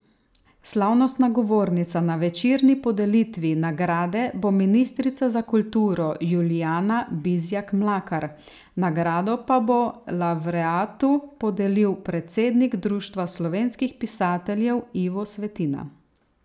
Slavnostna govornica na večerni podelitvi nagrade bo ministrica za kulturo Julijana Bizjak Mlakar, nagrado pa bo lavreatu podelil predsednik Društva slovenskih pisateljev Ivo Svetina.